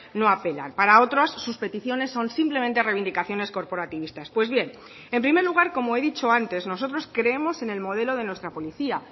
no apelan para otras sus peticiones son simplemente reivindicaciones corporativistas pues bien en primer lugar como he dicho antes nosotros creemos en el modelo de nuestra policía